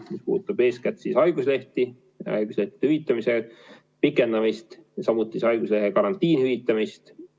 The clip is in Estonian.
See puudutab eeskätt haiguslehti, haiguslehtede hüvitamise pikendamist, samuti haiguslehega karantiinis olemise hüvitamist.